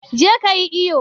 je ka yi iyo!